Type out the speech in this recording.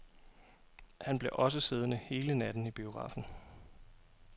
Han blev også siddende hele natten i biografen.